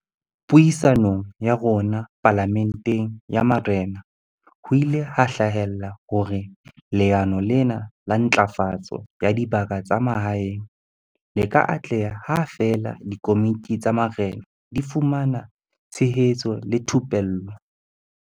Puisanong ya rona Pala menteng ya Marena, ho ile ha hlahella hore leano lena la Ntlafatso ya Dibaka tsa Mahaeng le ka atleha ha feela dikomiti tsa marena di fumana tshehetso le thupello.